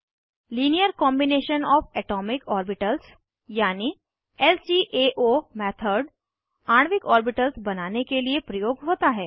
linear combination O F atomic orbitals यानि LCAO method आणविक orbitals बनाने के लिए प्रयोग होता है